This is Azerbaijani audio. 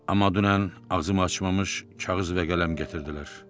Amma dünən ağzımı açmamış kağız və qələm gətirdilər.